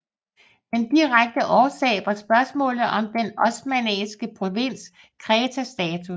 Den direkte årsag var spørgsmålet om den Osmanniske provins Kretas status